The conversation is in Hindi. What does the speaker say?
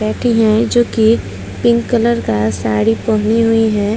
बैठी है जो कि पिंक कलर का साड़ी पहनी हुई है।